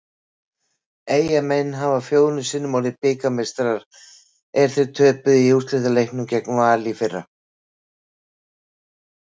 Eyjamenn hafa fjórum sinnum orðið bikarmeistarar en þeir töpuðu í úrslitaleiknum gegn Val í fyrra.